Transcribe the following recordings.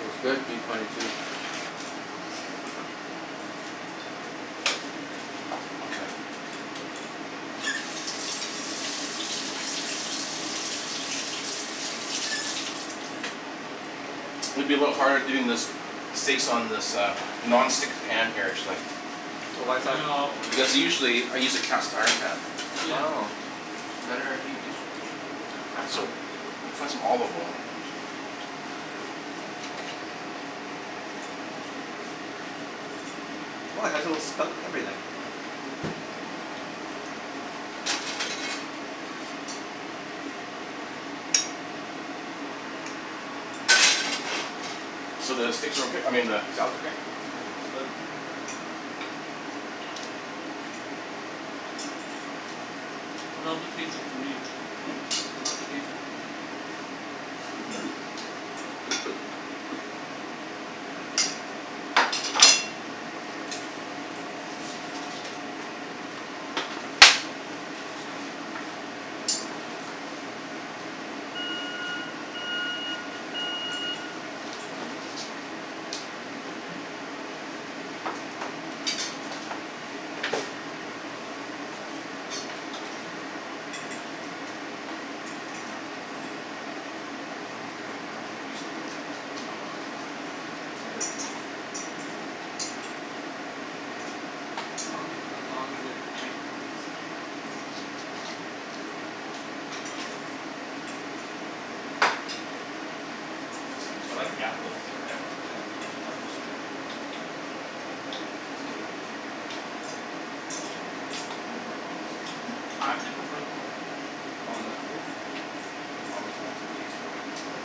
That's good, P twenty two. Okay. It's gonna be a little bit harder doing this, steaks on this uh non-stick pan here actually. Oh, why Ah, is you that? need a lot of oils. Because usually I use a cast iron pan. Yeah. Oh. Better at heat distribution. You have And cast so, iron? I'll find some olive oil. Oh, it has a little spout and everything. So, the steaks are okay? I mean the salad's okay? Oh, it's good. Mmm, it's good. I love the taste of free. Hmm? I love the taste of free. Hmm. It's over here. It's not too greasy, is it? No, no, it's fine. Never too greasy. As long as as long as there's bacon grease, I'm good. This is simple I salad. like the apples. Yeah. Yeah. It has a tartness all right. Yeah. It's good addition. So Jen goes, "What happened to my almonds?" I actually prefer the almonds over the apple. Almonds add some taste to it, right? Yeah.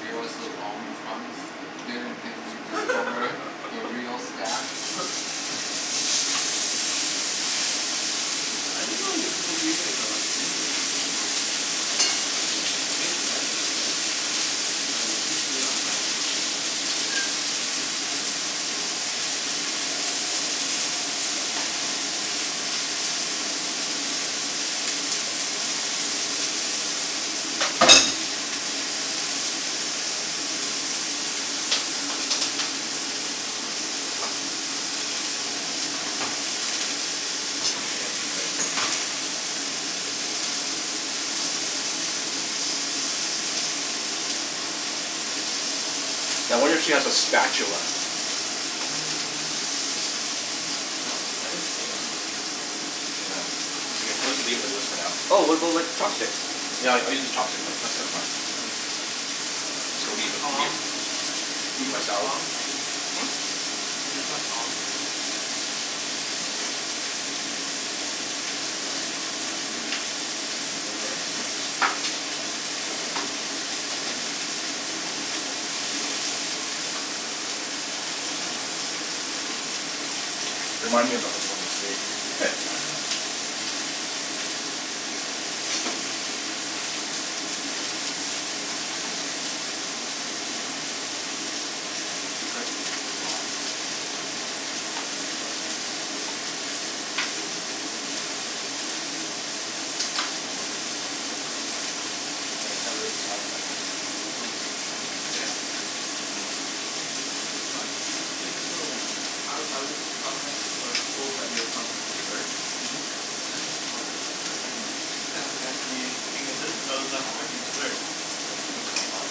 Gave us those almond crumbs. Didn't think we'd discover the real stash. I didn't know you people leave it in the freezer. It makes sense but Right, you could just leave it outside. Now I wonder if she has a spatula. Yeah. eat this for now. Oh, what about like chopsticks? Yeah, I I use the chopsticks. Then So Or leave it, here. tongs? You Eat guys my use salad. tongs? Hm? You just have tongs Yeah, that's okay. I'll just sit down now. Yeah. Let me move, move over. There you go. Thank you, sir. Remind me ab- of of the steak eh. Okay. I think we can save some stuff for Jen. Mhm. You could. There's a lot. There's a lot, right? And your brother. Want some more, Jimmy? No, I'm good. No? You're not you're not really a salad fan, huh? No. It's like appetizer, It's right? an appetizer. It's like a side to me. So It's a side. I I was promised, I was told that we are promised desserts? Mhm. Oh, there's dessert? Mhm. What kind of fancy thing is this? freaking dessert. It's called Superstore pie.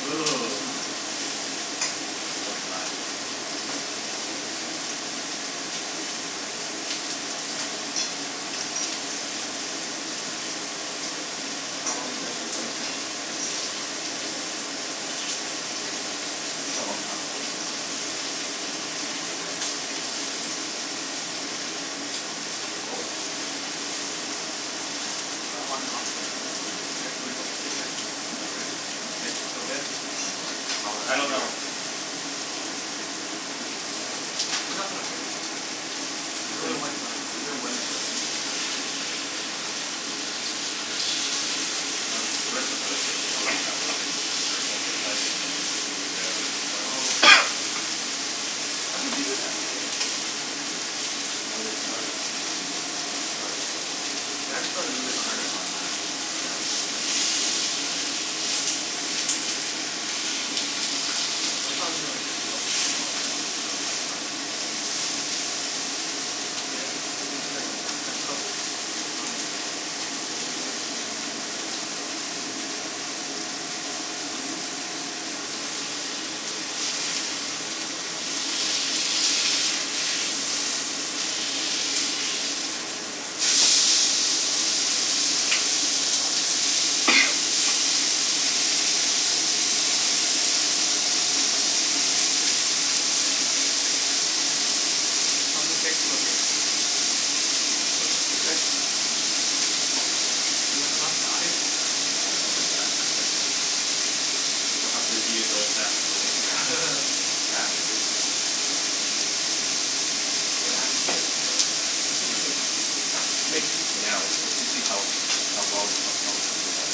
Ooh. Mmm. I love pie. Simp- simple dessert. So, how long you guys been playing tennis? A long time for me. Maybe, uh, twenty years. Oh. But on and off again, right? Mhm. Do we have to worry about the steak yet? Hmm? No, right? Steaks Hmm? are still good. Smell that I don't know. sear. Smell the sear. No, it should be It's not gonna burn that fast. There's only Even one side too. even when it burns, it's actually good. Uh the restaurants I always get a Chicago sour, it's like burnt on the outside and then like blue rare on the inside. Oh yeah, I love that thing. How do they do that then? They just keep No. They start um, they start You have to start really They hot. turn it on max. Yeah. When they get smoky, they put it in. Oh. Cuz I thought it'll be like it'll take a long time just for that one side. Right? Mmm. And to get it actually crispy, it's gonna it's gonna cook by the time you flip it again, it's gonna be medium rare on one side. Mhm. Blue? Yes. How's the steaks looking? It's okay. Do we have enough knives? Yeah, I don't know about that. We'll have to eat it the old fashioned way. Yeah. Savages. What happened here? Bloodbath. I mean, I made two for now. Let's let's see how how well, how cooked they are.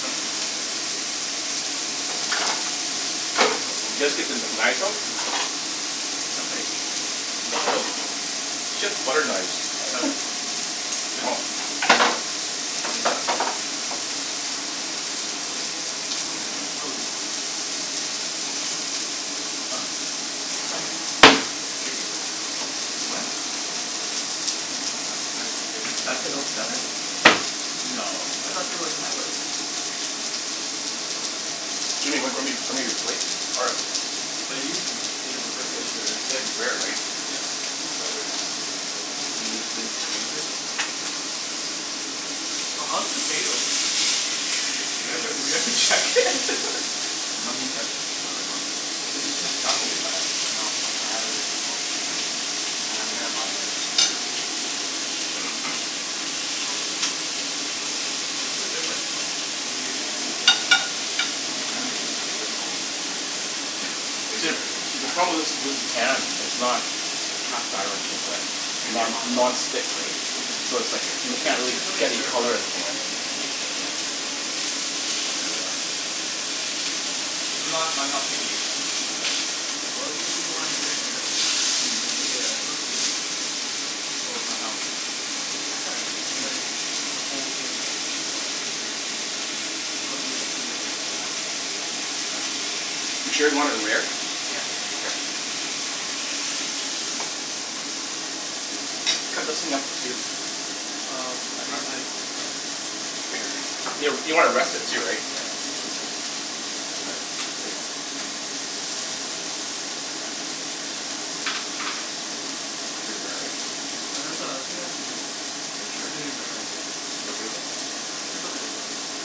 Is that Samsung? Guess what phone You it guys is. get the kn- knives out? That's right. She has butter knives. Seven. No? Close. It's like the exploding one. Yeah, it's the exploding one. Oh. I shit you not. What? It is. I'm not not even kidding. That's a Note seven? Yeah. No. I thought they were like tablets? No. This is the size of it. Jimmy, w- grab me grab me your plate. Oh, 'bout you? It is refurbished or? You like it rare, right? Yeah. It's the original. First gen. And you just didn't exchange it? No. Oh, how's the potatoes? We haven't, we haven't checked it. I know he checked it. I Oh. saw him. So you can't travel with that? No. I have a different phone for traveling and I'm gonna buy the Note eight next month. Probably give this away. Oh, what's the difference then? They, Hmm? what did they change? Apparently, it's a bigger phone. It's nicer, bigger See, the problem actual was was screen. the pan. It's not cast iron. It's uh Can't get non- hot enough? non-stick, right? So it's like, m- It's like can't a, get really it's only a get any stir-fry color of the thing thing. rare. Yeah I think you can stir-fry in that. I'm not I'm not picky, so Well, i- if you wanna make it better, right? I'll make it. It'll cook evenly, right? Oh but how? Cast iron. It's like, the whole thing will be more evenly heated, right? This won't be like heated on one side You sure you want it rare? Yeah. Okay. Cut those thing up to see if Um, I need a Rest knife. it. Rest it. You w- you want to rest it too, right? Yeah, That's Here you go. Cut It's pretty rare, right? No. That's uh, I think that's medium. Are you sure? Medium rare, I think, yeah. You guys okay with that? It's okay, yeah. Okay.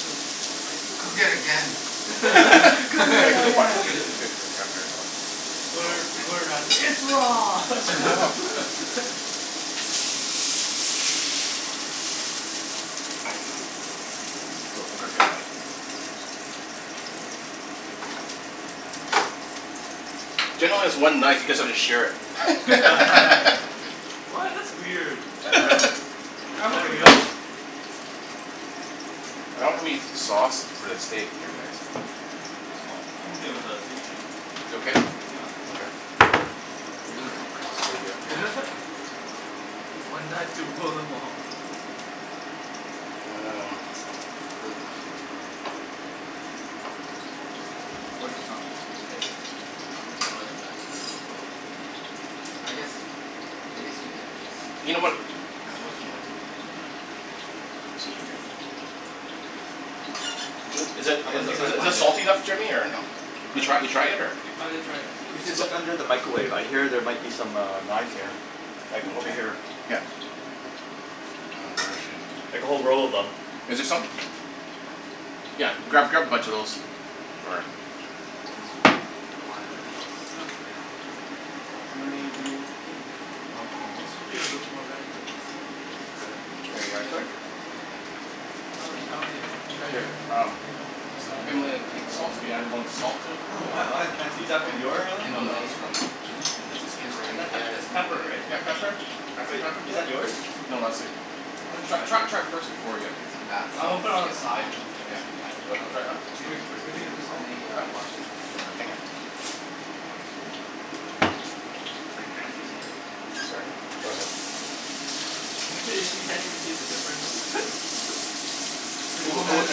Was the spiciest Cook it again. Cook it again. I'll get, grab yours Alex, since since you're Oh, Gor- thanks. Gordon Ramsay. It's raw! Thanks Don. So, I'll grab me a knife. One sec. Mine's pretty medium. Jen only has one knife you guys have to share it. What? That's weird. For Is real? Yeah, I'm okay that with that. real? I don't have any sauce for the steak here guys. Oh, I'm okay without a seasoning. You okay? Yeah. Okay. Really, only one knife? Okay. One knife to rule them all. Um You can really tell she doesn't cook. Or just not steaks. Other Mm. Oh things. yeah, that's true as well. I guess, I guess you could just You know what, oh Like reuse hang roasted on. vegables and stuff. This'll be good. L- is it I'm in gonna see th- if I can is this find it. salty enough Jimmy, or no? You What? try you try it yet, or No, I didn't try it We yet. should look under the micawave. I hear there might be some uh knives here. Like, over Okay. here. Yeah. Oh, where is she? Like a whole roll of them. Is there some? Yeah, That's grab grab a more bunch of those. Or You know It's why not bad. It's not bad. Yeah. Yeah, you know why it's How hard to many do we tell. ne- Yeah. oh, okay. One It more? should be a little bit more red, but it's, Yeah, yeah. it's the cut of meat too, There you are, It's, yeah. so sir. yeah. Oh, thank It's you. Oh, you found it. Here, Treasure. um What's Just that? Himalaya pink salt, if you added want a salt to it a Oh little bit? wow, that's fancy. Is that from And, your ah no no, it's Himalayan. Himalayan? from Is this Is Himalayan? that Yeah, pep- it's it's pepper, Himalayan. right? Yeah, pepper. Yeah, it's Add some pepper. Wait. pepper Is to that it. yours? No, that's sweet. I wanna Tr- try this. tr- try it first before ya Get some bath No, I'm gonna salts, put it on the get side high. or something Yeah. to see how You it wanna all try it out? See if it Wh- wh- is is where'd is you it, get the Let salt? me huh? uh wash this knife, fir- Oh. It's like fancy salt. Sorry. Yeah. Go Go ahead. ahead. Imagine if she can't even taste the difference? It's like Oh oh w- oh man, wait, this I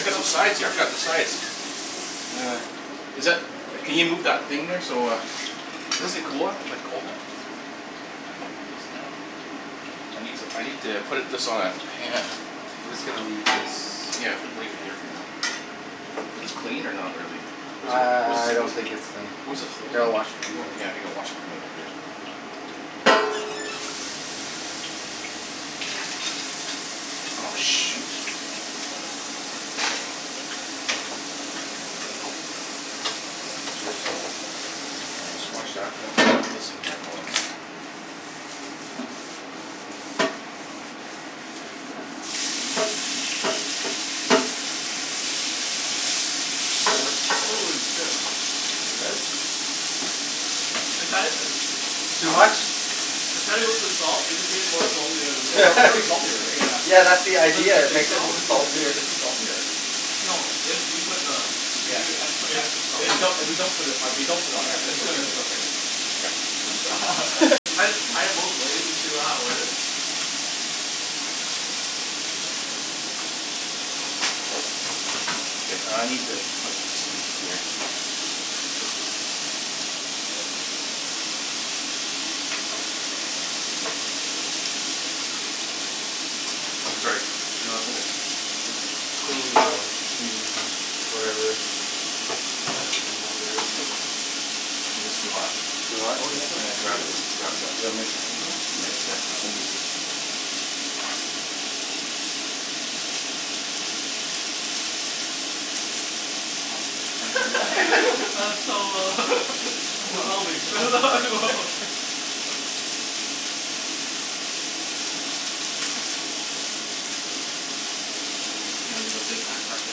got stuff some is sides here. I really forgot the sides. Is that, can you move that thing there so uh This a cooler is like Yeah, cold then? it's cold. Okay, I'm gonna get this thing out I need to I need to put it this on a pan I'm just gonna leave this Yeah, we can leave it here for now. This clean, or not really? I What's a what I I don't what's think it's clean. What is it Here, holding? I'll wash it for you. Oh yeah, I think I wash it from you Oh, shoot. Is this dish soap? Unless you wash that and I Shh. get this thing here going. Holy shit. Is it good? I'd had it uh Too Huh? much? I tried it with the salt. It just made it more salty. I was like It's al- it's already salty r- right? Yeah. Yeah, that's the Cuz of idea. the It sea makes it salt. Is m- it is it saltier. is it too salty or No, if you put the if Yeah. you e- put It's extra salt, If it's we yeah. don't if we don't put it if we don't put it on there Yeah, it's it's good. okay It's it's go- okay, right? Okay. I just tried it both ways to see w- how it was. Okay, I need to put this in here. I'm gonna go like this. Here. Sorry. No, it's okay. It's clean now p whatever your number is. I think it's too hot. Too hot? Oh Yeah, there's still I'm gonna grab the potatoes. grab the The oven mitts. I I didn't even know. mitts think here. about that. I'll use this thing here. Oh, Oh. Jen's really That's so uh Come I'm on. A developing. little burn, no? So we just gonna leave a big mess after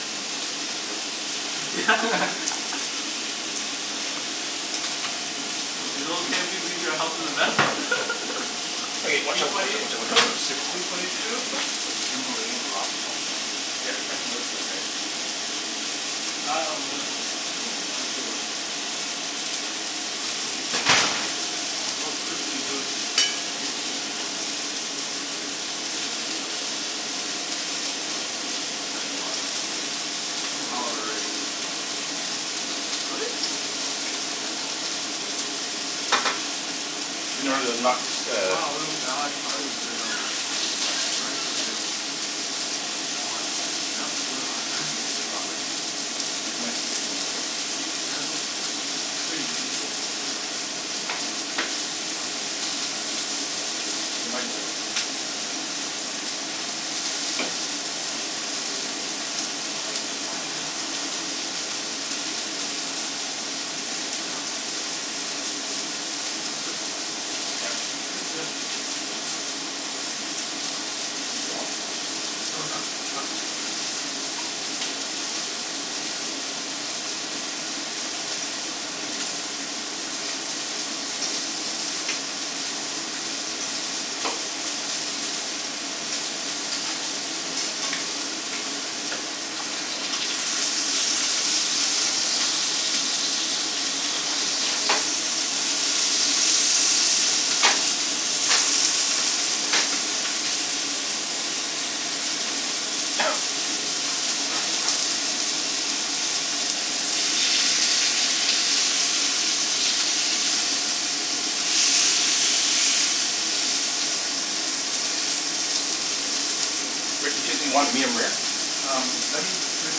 and go play Yeah. tennis? Is it okay if we leave your house as a mess? Okay, watch P out watch twenty out watch out watch out. Sneak behind P twenty two. Himalayan rock salts. Here, try some of this stuff guys. Woah. That I'm looking forward to. Ooh. That looks really good. Oh, it's crispy, too. Holy shoe. Oh, that's good. S- that's a lot of potatoes. I'm al- Oh. already pretty full from the salad. Really? Yeah, I get full easily but Oh. Oh. I can keep eating. You know where the knocks uh Wow, potato. What? Eyes potato. Is it hot? Yep, it's really hot. Is it super super hot, right? Mm. Yeah. Yeah. It's my sticking a little bit. Yeah, that's okay. It's pretty easy to uh g- get off. Not so mu- Oh. Try s- this this try some of this. It might be overcooked actually. I'm not sure. Ah. Like sticking. I like the fact that it's sticking. Oh. Cuz there's a crispiness under. Yep. Yeah. It's good though. You tried it? It's good. Too strong, though, or No, it's not s- it's not too strong. Rick, the chickpea, you want it medium-rare? Um, let me do it the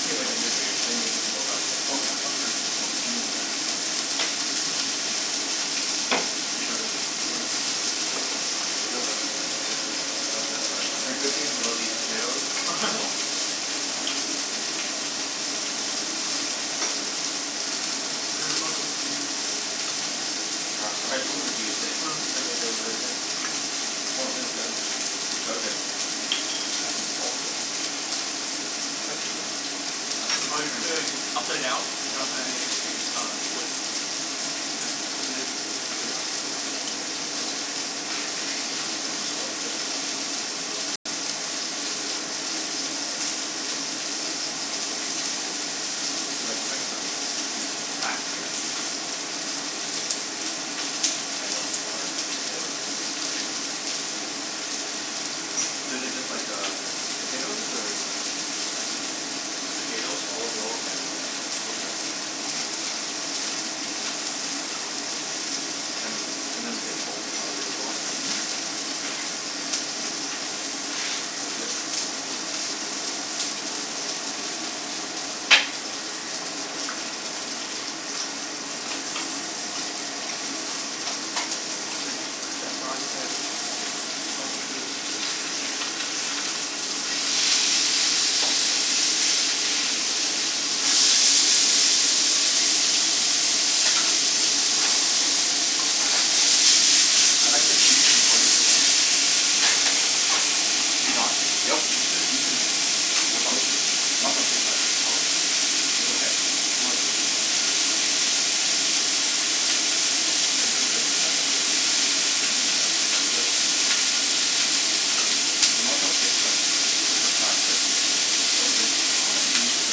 same way that you're doing it, then you can take them both out at by the same Okay, time. okay sure. So medium-rare. Yeah. You try the The potatoes are good. Love the burnt I've heard good things crispiness. about these potatoes. I am wa- You heard about the reviews. They're on I Yelp read two already. reviews and Mm. apparently they were very good. Mhm. Oh, thith is good. These are good. Add some salt to it. How does this work? Ah, I think you Oh just you turn it. should ea- upside down. uh-huh. Uh, twist. As, you gotta twist it pretty hard, yeah. Oh. Yeah. Add some salt to it, yeah. They're like French fries but c- Mhm. but classier. Mhm. And also more flavorful. So is it just like um, potatoes? Or How'd you m- It's just potatoes, olive oil, and uh rosemary. Mm. And and then we can salt them however we want, right? Mhm. That's legit. Like ch- chef Don says salt to taste. I like the seasoning. What is it, Don? Hey Don? Yep. What's the seasoning? For It's which one? good. Montreal steak spice. Oh, yeah. Was okay? No, it's good. Mm. It's pretty good on lettuce. Mhm. What's that? No, it's good. The Montreal steak spice, it's supposed to be for prime rib right? So Oh, is it? Yeah, I Oh. think they use it for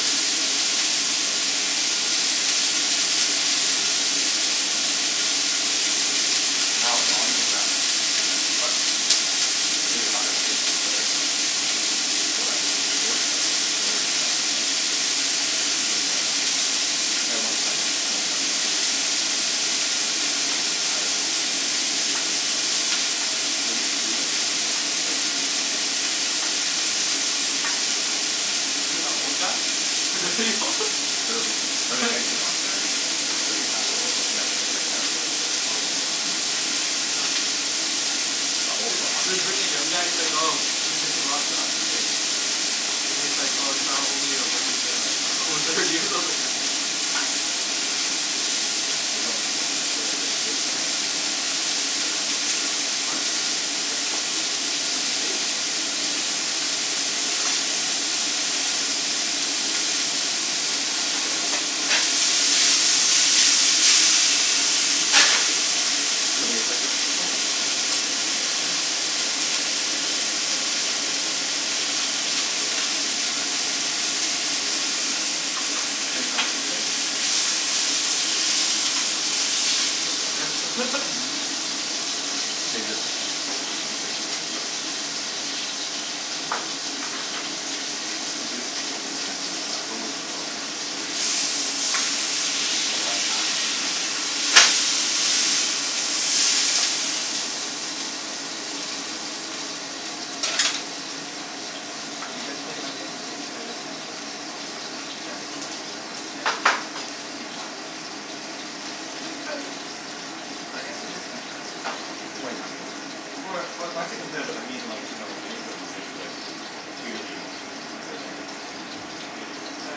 the steak too. This is pretty stuck on there pretty good. So how was It's fun. You Pretty see a good. lot of gifted players? We still got George guy, right? George uh he's like uh, guy won Stan- P- Stanley Park Open, actually. Oh. I think he's Oh. retired now. Was he competing? Yeah, he was competing, yeah. Is it that old guy? old? Thirty. "I'm thirty." Thirty's not old. Yeah, for t- for a tennis player it is. Oh, yeah. For a tennis Yeah. player. Not old Is for a hockey is for player. birthing young guys like oh, he was missing a lot of shots, right? And he's like, "Oh, if only I wasn't uh over thirty" or something like that. You guys want any ketchup for that for th- for your steaks or anything at? Mm. We could find some. What? Ketchup? For my steak? Oh no. Show me your plate, Rick? Oh, yeah. Thank you, sir. Thanks. Any plans for the weekend? Probably tennis. Mhm. Save this o- Oh, okay for you? thank you. I usually take the weekend, I go with the flow. But if I have time, I'll play tennis. Do you guys play in like any sort of competitive league, or? No. Jen does, or Kim. P twenty. Is it competitive? I guess it is competitive. You guys want any napkins? Right? Or wh- why's it competitive? I mean like, you know, any sort of league, like beer league, type of thing? Thank you. I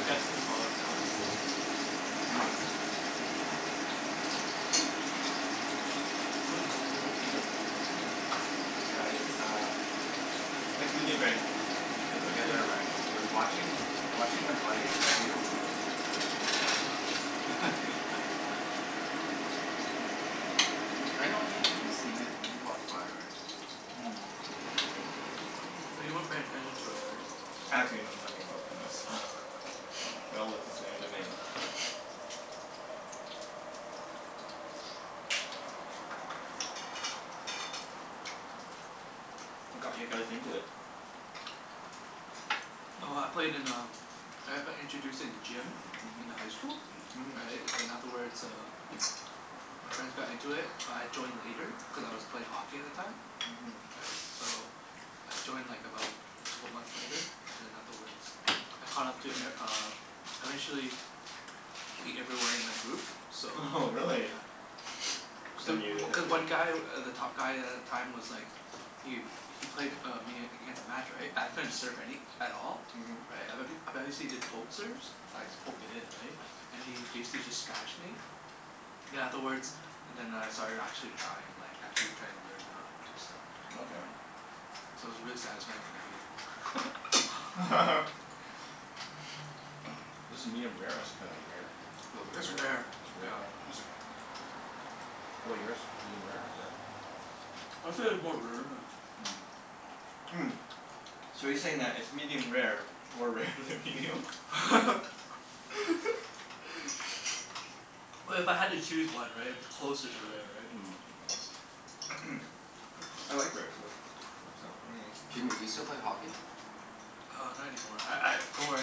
guess you can call it like a beer league, right? I'm good mm. It's Mm. when, within meet-up, right? Yeah, it's uh Mm. Like do they rank each other? Yeah, That's there Yeah. are what I mean rankings. But so- watching watching them play, they don't look competitive. Yeah. Y- I know yo- you've seen it. You've walked by, right? Mm. But you weren't paying attention to it, Oh. right? Actually know nothing about tennis, so they all look the same to me. What got you guys into it? Oh, I played in um I've I introduced it in gym in the high school. Mhm. Mhm. Right? And then afterwards uh my friends got into it but I joined later cuz I was play hockey at the time. Mhm. Right? So I joined like about couple months later. And then afterwards I caught up to e- uh I Mhm. eventually beat everyone in my group. So Oho, really? yeah Cuz i- Then you w- had cuz to one guy, w- the top guy a- at the time was like Yu. He played uh me against a match, right? I couldn't serve any at all. Right? I bet h- I bet he see the poke serves? I'd just poke it in, right? And he basically just smashed me Mhm. then afterwards then I started actually trying. Like actually trying to learn how do stuff, you Okay. Okay. know? So it was really satisfying when I beat him. Is this medium-rare, or is it kinda rare? A little bit It's rare, rare. It's rare, yeah. right? It's okay. How 'bout yours? medium-rare or rare? I'd say it's more rare than Mm. Mm, so you're saying that it's medium rare more rare than medium? Well, if I had to choose one, right? It'd be closer to rare, right? Mm. Yeah. I like rare, so works out for me. Jimmy, you still play hockey? Uh, not any more. I I, don't worry